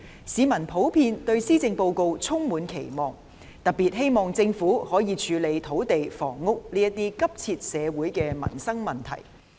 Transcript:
市民普遍對施政報告充滿期望，特別希望政府可以處理土地和房屋等急切的社會和民生問題。